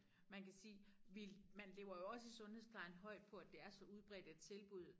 Man kan sige vi man lever jo også i sundhedsplejen højt på at det er så udbredt et tilbud